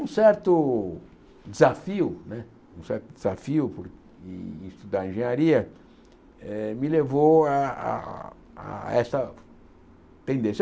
um certo desafio né, um certo desafio em estudar engenharia eh, me levou a a a essa tendência.